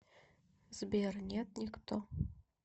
сбер нет никто